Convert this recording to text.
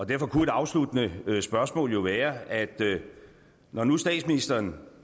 derfor kunne et afsluttende spørgsmål jo være når nu statsministeren